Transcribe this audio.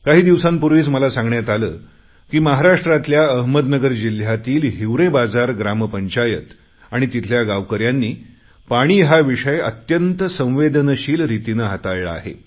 काही दिवसांपूर्वीच मला सांगण्यात आले की महाराष्ट्रातल्या अहमदनगर जिल्ह्यातील हिवरे बाजार ग्रामपंचायत आणि तिथल्या गावकऱ्यांनी पाणी हा विषय अत्यंत संवेदनशील रितीने हाताळला आहे